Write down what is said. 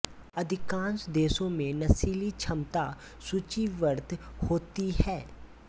अधिकांश देशों में नशीली क्षमता सूचीबद्ध होती है